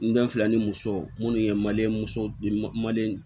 N den fila ni muso munnu ye mali muso